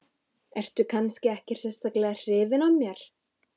Ertu kannski ekkert sérstaklega hrifin af mér?